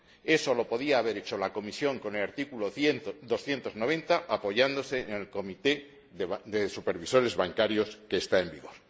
Eso lo podía haber hecho la Comisión con el artículo 290, apoyándose en el Comité de Supervisores Bancarios, que está en vigor.